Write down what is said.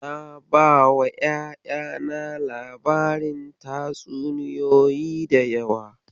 Na bawa ƴaƴana labarin tatsuniyoyi da yawa.